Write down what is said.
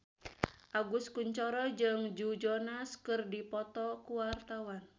Agus Kuncoro jeung Joe Jonas keur dipoto ku wartawan